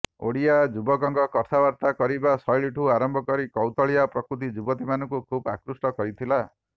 ଓଡିଆ ଯୁବକଙ୍କ କଥାବାର୍ତ୍ତା କହିବା ଶୈଳୀଠୁ ଆରମ୍ଭ କରି କୌତୁହଳିଆ ପ୍ରକୃତି ଯୁବତୀଙ୍କୁ ଖୁବ୍ ଆକୃଷ୍ଟ କରିଥିଲା